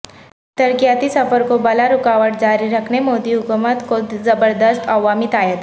ترقیاتی سفر کو بلارکاوٹ جاری رکھنے مودی حکومت کو زبردست عوامی تائید